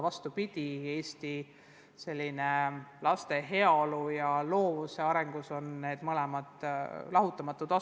Vastupidi, Eesti laste heaolu ja loovuse arendamise seisukohalt on need mõlemad vajalikud.